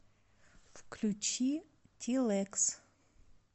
включи тилэкс